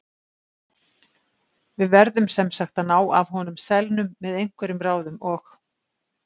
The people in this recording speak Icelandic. Við verðum sem sagt að ná af honum selnum með einhverjum ráðum OG